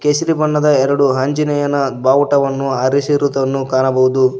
ಕೇಸರಿ ಬಣ್ಣದ ಎರಡು ಆಂಜನೇಯನ ಬಾವುಟವನ್ನು ಹಾರಿಸಿರುವುದನ್ನು ಕಾಣಬಹುದು.